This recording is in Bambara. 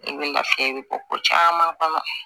I bɛ lafiya i bi bɔ ko caman kɔnɔ